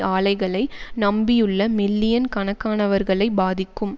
ஆலைகளை நம்பியுள்ள மில்லியன் கணக்கானவர்களை பாதிக்கும்